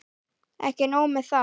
Ekki nóg með það.